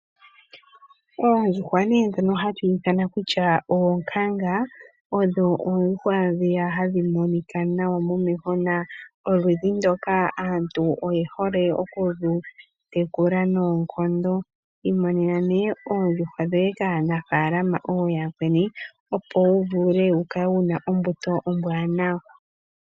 Oondjuhwa ndhoka hadhi ithanwa oonkanga odho oondjuhwa ndhoka hadhi monika nawa momeho na oludhi ndoka aantu oye hole okulu tekula noonkondo. Imonena nee oondjuhwa dhoye kaanafalama ooyakweni, opo vule wu kale wuna ombuto ombwaanawa.